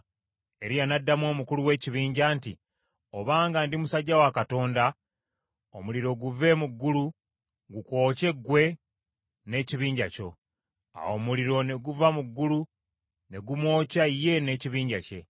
Eriya n’addamu omukulu w’ekibinja nti, “Obanga ndi musajja wa Katonda, omuliro guve mu ggulu gukwokye ggwe n’ekibinja kyo!” Awo omuliro ne guva mu ggulu ne gumwokya ye n’ekibinja kye.